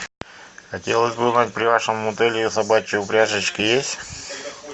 хотелось бы узнать при вашем отеле собачьи упряжечки есть